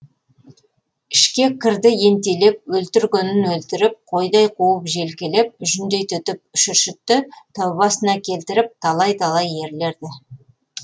ішке кірді ентелеп өлтіргенін өлтіріп қойдай қуып желкелеп жүндей түтіп шүршітті тәубасына келтіріп талай талай ерлерді